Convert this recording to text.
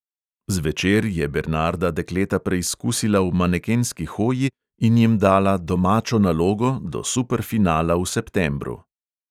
Zvečer je bernarda dekleta preizkusila v manekenski hoji in jim dala "domačo nalogo" do superfinala v septembru.